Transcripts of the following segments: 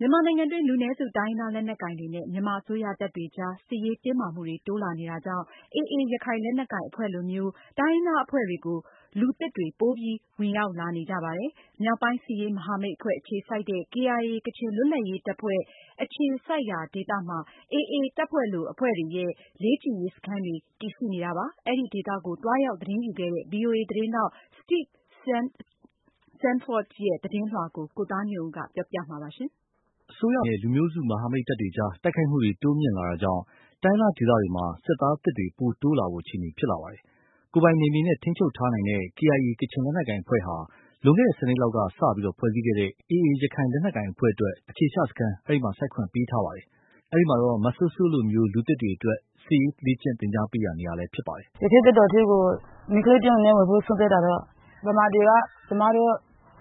မြန်မာနိုင်ငံတွင်း လူနည်းစု တိုင်ရင်းသား လက်နက်ကိုင်တွေနဲ့ မြန်မာအစိုးရ တပ်တွေအကြား စစ်ရေးတင်းမာမှုတွေ တိုးလာနေတာကြောင့် AA ရခိုင်လက်နက်ကိုင် အဖွဲ့လိုမျိုး တိုင်းရင်းသားအဖွဲ့တွေကို လူသစ်တွေ ပိုပြီး ဝင်ရောက်နေကြပါတယ်။ မြောက်ပိုင်း စစ်ရေးမဟာမိတ်အဖွဲ့ အခြေစိုက်တဲ့ KIA ကချင်လွတ်လပ်ရေး တပ်ဖွဲ့အခြေစိုက်ရာဒေသမှာ AA လိုအဖွဲ့တွေရဲ့ လေ့ကျင့်ရေး စခန်းတွေ တည်ရှိနေတာပါ။ အဲဒီ ဒေသကို သွားရောက်သတင်းယူခဲ့တဲ့ ဗွီအိုအေ သတင်းထောက် Steve Sandford ရေးသားပေးပို့ထားတာကို ကိုသားညွန့်ဦး ပြောပြမှာပါ။ အစိုးရတွေနဲ့ လူမျိုးစု မဟာမိတ်တပ်တွေ အကြား တိုက်ခိုက်မှုတွေ တိုးမြင့်လာတာကြောင့် တိုင်းရင်းသားဒေသတွေမှာ စစ်သားသစ်တွေ ပိုတိုးလာဖို့ အခြေအနေဖြစ်လာပါတယ်။ ကိုယ်ပိုင်နယ်မြေနဲ့ ထိန်းချုပ်ထားနိုင်တဲ့ KIA ကချင်လက်နက်ကိုင် အဖွဲ့ဟာ လွန်ခဲ့တဲ့ ၁၀နှစ်လောက်က စ ဖွဲ့စည်းခဲ့တဲ့ AA ရခိုင်လက်နက်ကိုင် အဖွဲ့အတွက် အခြေချစခန်း စိုက်ခွင့်ပေးထားပါတယ်။ အဲဒီမှာ မစိုးစိုးလိုမျိုး လူသစ်တွေအတွက် စစ်ရေး လေ့ကျင်သင်ကြားပေးရာနေရာဖြစ်နေတယ်။ “ ရခိုင့်တပ်တော်ထဲကို မိန်းကလေး တယောက် အနေနဲ့ ဝင်ဖို့ ဆုံးဖြတ်တာတော့ ဗမာတွေက ကျမတို့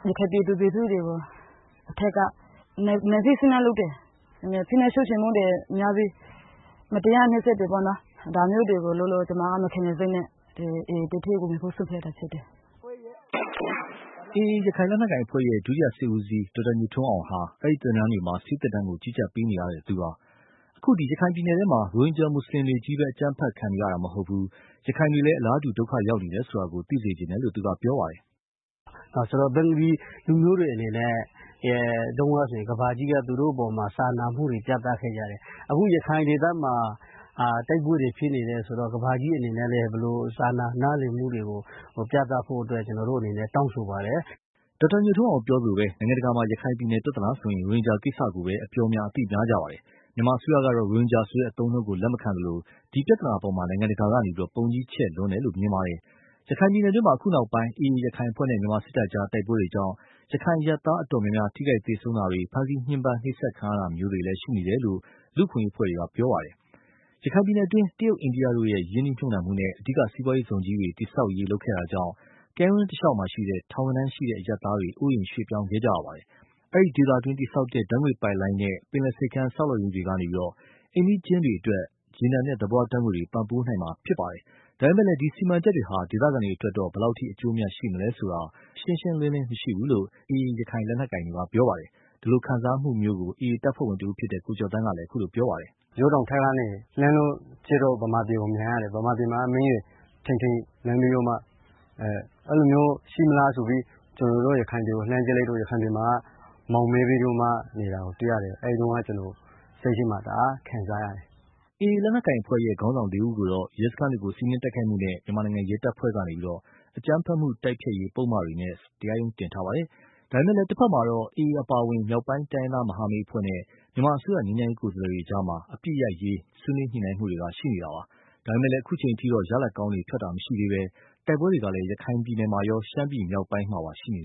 ရခိုင် ပြည်သူ လူထုတွေကို အထက်က နိုင်ထက်စီးနင်း လုပ်တယ်။ ဖိနှိပ် ချုပ်ချယ်မှုတွေ များပြီး မတရား နှိပ်စက်တယ် ပေါ့နော်။ ဒါမျိုးတွေ လုပ်လို့ ကျမက မခံချင်စိတ်နဲ့ တပ်ထဲ ဝင်ဖို့ ဆုံးဖြတ်တာ ဖြစ်တယ်။ ” AA ရခိုင်လက်နက်ကိုင်အဖွဲ့ရဲ့ ဒုတိယ စစ်ဦးစီး ဒေါက်တာ ညိုထွန်းအောင်ဟာ အဲဒီ သင်တန်းတွေမှာ ဆေးသင်တန်းကို ကြီးကြပ်ပေးပါတယ်။ အခု ရခိုင်ပြည်နယ်ထဲမှာ ရိုဟင်ဂျာမွတ်ဆလင်တွေချည်းပဲ အကြမ်းဖက်ခံနေရတာ မဟုတ်ဘူး၊ ရခိုင်တွေလည်း အလားတူ ဒုက္ခရောက်နေတယ်ဆိုတာ သိစေချင်တယ်လို့ ပြောပါတယ်။ " ဆိုတော့ ဘင်္ဂလီ လူမျိုးတွေ အနေနဲ့ တုန်းကဆို ကမ္ဘာကြီးက သူတို့ အပေါ်မှာ စာနာမှုတွေ ပြသခဲ့ကြတယ်။ အခု ရခိုင် ဒေသမှာ တိုက်ပွဲတွေ ဖြစ်နေတယ် ဆိုတော့ ကမ္ဘာကြီး အနေနဲ့ ဘယ်လို စာနာ နားလည်မှုတွေကို ပြသဖို့ အတွက် ကျနော်တို့ အနေနဲ့ တောင်းဆိုပါတယ်။ ” ဒေါက်တာညိုထွန်းအောင်ပြောသလိုပဲ နိုင်ငံတကာမှာ ရခိုင်ပြည်နယ်ပြဿနာဆိုရင် ရိုဟင်ဂျာကိစ္စကိုပါ အပြောများ အသိများပါတယ်။ မြန်မာအစိုးရ ကတော့ ရိုဟင်ဂျာဆိုတဲ့ အသုံးအနှုံးကို လက်မခံသလို၊ ဒီ ပြဿနာအပေါ်မှာ နိုင်ငံတကာက ပုံကြီးချဲ့လွန်းတယ်လို့ မြင်ပါတယ်။ ရခိုင်ပြည်နယ်တွင်း အခုနောက်ပိုင်းမှာ AA ရခိုင်အဖွဲ့နဲ့ မြန်မာ စစ်တပ်အကြား တိုက်ပွဲတွေကြောင့် ရခိုင်အရပ်သား အတော်များများ ထိခိုက်သေဆုံးတာတွေ ဖမ်းဆီးညှဉ်းပမ်းခံရတာမျိုးတွေ ရှိနေတယ်လို့ လူ့အခွင့်အရေးအဖွဲ့တွေက ပြောပါတယ်။ ရခိုင်ပြည်နယ်တွင်းမှာ တရုတ်၊ အိန္ဒိယတို့ရဲ့ ရင်းနှီးမြုပ်နှံမှုနဲ့ အဓိက စီးပွားရေးဇုံကြီးတွေ တည်ဆောက်ရေးလုပ်ခဲ့တာကြောင့် ကမ်းရိုးတန်းတလျှောက်က ထောင်နဲ့ချီတဲ့ အရပ်သားတွေ အိုးအိမ်ရွေ့ပြောင်းခဲ့ကြရပါတယ်။ အဲဒီ ဒေသတွင်း တည်ဆောက်တဲ့ ဓါတ်ငွေ့ပိုက်လိုင်းနဲ့ ပင်လယ်ဆိပ်ကမ်း ဆောက်လုပ်ရေးတွေကနေ အိမ်နီးချင်းတွေအတွက် ရေနံနဲ့သဘာဝဓါတ်ငွေ့တွေ ပံ့ပိုးပေးနိုင်မှာဖြစ်ပါတယ်။ ဒါပေမယ့် ဒီစီမံချက်တွေဟာ ဒေသခံတွေအတွက် ဘယ်လောက်အထိ အကျိုးအမြတ်ရှိမလဲဆိုတာ ရှင်းရှင်းလင်းလင်းမရှိဘူးလို့ AA လက်နက်ကိုင်တွေ ပြောပါတယ်။ ဒီလို ခံစားမှုမျိုးကို AA တပ်ဖွဲ့ဝင်တဦးဖြစ်တဲ့ ကိုကျော်သန်းက အခုလို ပြောပါတယ်။ “ ရိုးတောင်ထဲကနေ လှမ်းလို့ ကြည့်လို့ ဗမာပြည်ကို မြင်ရတယ်။ ဗမာပြည်မှာ မီးတွေ ထိန်ထိန်လင်းပြီးတော့မှ အဲလိုမျိုး ရှိမလားဆိုပြီး ကျနော်တို့ ရခိုင်ပြ ည်ကို လှမ်းကြည့်လိုက်တော့ ရခိုင်ပြည်မှာ မှောင်မည်းပြီးတော့မှ နေတာကို တွေ့ရတယ်။ အဲဒီတုန်းက ကျနော် စိတ်ထဲမှာ တအား ခံစားရတယ်။ ” AA လက်နက်ကိုင်အဖွဲ့ရဲ့ ခေါင်းဆောင်လေးဦးကိုတော့ ရဲစခန်းတွေကို စီးနင်းတိုက်ခိုက်မှုနဲ့ မြန်မာနိုင်ငံ ရဲတပ်ဖွဲ့ကနေ အကြမ်းဖက်မှု တိုက်ဖျက်ရေး ပုဒ်မတွေနဲ့ တရားရုံး တင်ထားပါတယ်။ ဒါပေမယ့်လည်း တဖက်မှာတော့ AA အပါအဝင် မြောက်ပိုင်း တိုင်းရင်းသားမဟာမိတ် အဖွဲ့နဲ့ မြန်မာအစိုးရ ငြိမ်းချမ်းရေး ကိုယ်စားလှယ်တွေ အကြား အပစ်ရပ်ရေးဆွေးနွေး ညှိုနှိုင်းမှုတွေရှိနေပါတယ်။ ဒါပေမယ့်လည်း အခုအချိန် အထိတော့ ရလာဒ်ကောင်း ထွက်တာမရှိသေးဘဲ၊ တိုက်ပွဲတွေကလည်း ရခိုင်မှာရော ရှမ်းပြည်မြောက်ပိုင်းမှာပါ ရှိနေ